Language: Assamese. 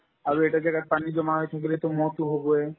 আৰু এটা জাগাত পানী জমা হৈ থাকিলেতো ম'হতো হ'বয়ে